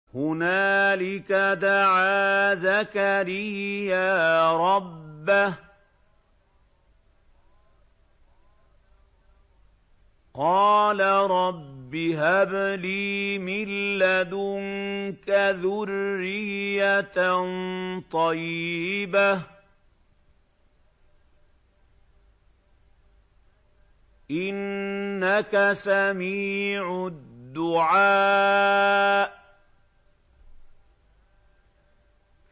هُنَالِكَ دَعَا زَكَرِيَّا رَبَّهُ ۖ قَالَ رَبِّ هَبْ لِي مِن لَّدُنكَ ذُرِّيَّةً طَيِّبَةً ۖ إِنَّكَ سَمِيعُ الدُّعَاءِ